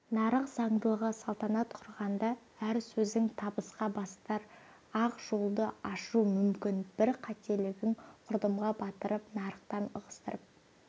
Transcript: нарық заңдылығы салтанат кұрғанда әр сөзің табысқа бастар ақ жолды ашуы мүмкін бір қателігің құрдымға батырып нарықтан ығыстырып